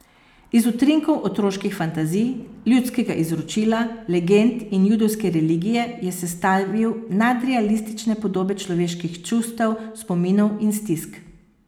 Iz utrinkov otroških fantazij, ljudskega izročila, legend in judovske religije je sestavil nadrealistične podobe človekovih čustev, spominov in stisk.